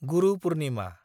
गुरु पुर्निमा